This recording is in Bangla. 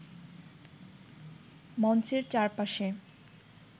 মঞ্চের চারপাশে